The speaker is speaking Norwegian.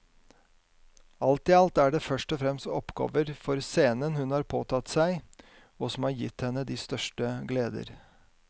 Alt i alt er det først og fremst oppgaver for scenen hun har påtatt seg og som har gitt henne de største gleder.